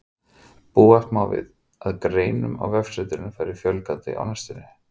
Búast má við að greinum á vefsetrinu fari fjölgandi á næstunni.